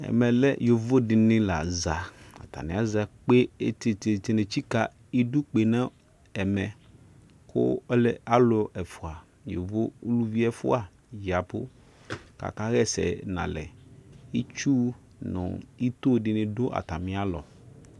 ɛmɛlɛ yovodini laza ataniaza kpe etititini etsika edukpenu ɛmɛ ku alu ɛfua yovo uluvi ɛfua diabu kakayɛsɛ nalɛ etui nu etodini du ɔtamialɔ